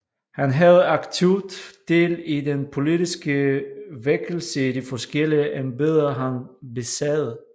Han havde aktivt del i den politiske vækkelse i de forskellige embeder han besad